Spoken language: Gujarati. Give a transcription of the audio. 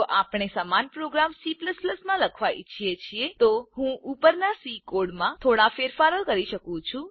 જો આપણે સમાન પ્રોગ્રામ C માં લખવા ઇચ્છીએ છીએ તો હું ઉપરના સી કોડમાં થોડા ફેરફારો કરી શકું છું